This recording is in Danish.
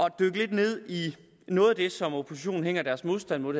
at dykke lidt ned i noget af det som oppositionen hænger deres modstand mod